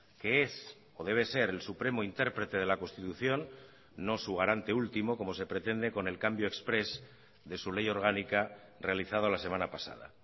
que es o debe ser el supremo interprete de la constitución no su garante último como se pretende con el cambio exprés de su ley orgánica realizada la semana pasada